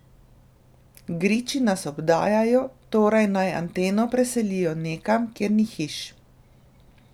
Griči nas obdajajo, torej naj anteno preselijo nekam, kjer ni hiš.